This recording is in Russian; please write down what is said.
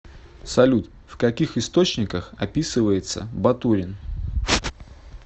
салют в каких источниках описывается батурин